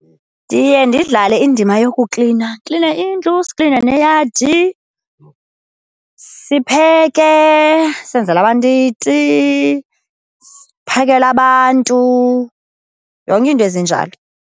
Ndiye ndidlale indima yokuklina, kline indlu, sikline neyadi. Sipheke, senzele abantu iti, siphakele abantu, yonke iinto ezinjalo.